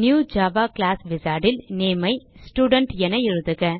new Java class wizard ல் name ஐ student என எழுதுக